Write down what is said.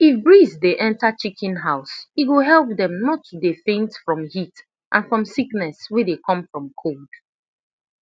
if breeze dey enter chicken house e go help them not to dey faint from heat and from sickness wey dey come from cold